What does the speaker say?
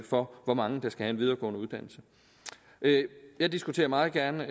for hvor mange der skal have en videregående uddannelse jeg diskuterer meget gerne